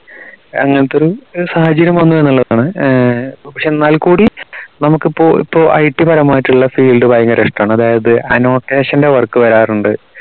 അങ്ങനത്തെ ഒരു സാഹചര്യം വന്നുന്നുള്ളതാണ് ഏർ പക്ഷേ എന്നാൽ കൂടി നമുക്ക് ഇപ്പൊ ഇപ്പൊ IT പരമായിട്ടുള്ള field ഭയങ്കര ഇഷ്ടണ് അതായത് annotation ന്റെ work വരാറുണ്ട്